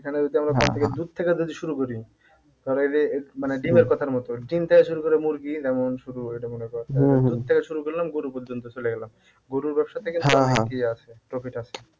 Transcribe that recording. এখানে যদি আমরা দুধ থেকে যদি শুরু করি ধর এইযে মানে ডিমের কথার মত, ডিম থেকে শুরু করে মুরগি যেমন দুধ থেকে শুরু করলাম গরু পর্যন্ত চলে গেলাম গরুর ব্যবসা থেকে profit আছে।